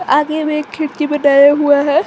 आगे में एक खिड़की बनाया हुआ है।